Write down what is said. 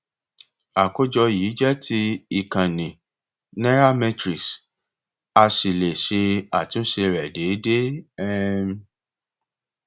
àkójọ yìí jẹ ti ìkànnì nairametrics a sì le ṣe àtúnṣe rẹ déédéé um